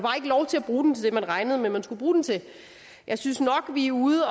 bruge den til man regnede med man skulle bruge den til jeg synes nok vi er ude